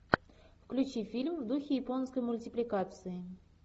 включи фильм в духе японской мультипликации